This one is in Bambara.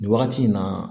Nin wagati in na